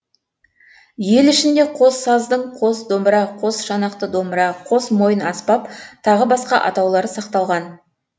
ел ішінде қос саздың қос домбыра қос шанақты домбыра қос мойын аспап тағы басқа атаулары сақталған